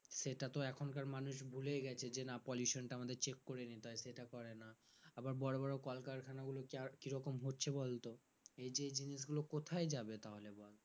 সেটা তো এখনকার মানুষ ভুলেই গেছে যে না pollution টা আমাদের check করে নিতে হয় সেটা করে না আবার বড় বড় কলকারখানা গুলো যার কিরকম হচ্ছে বলতো এইযে যে জিনিসগুলো কোথায় যাবে তাহলে বল